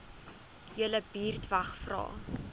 julle buurtwag vra